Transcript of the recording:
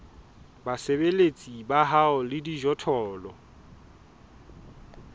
basebeletsi ba hao le dijothollo